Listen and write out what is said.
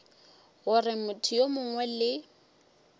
gore motho yo mongwe le